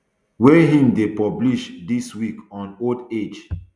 wey im dey publish dis week on old age